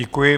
Děkuji.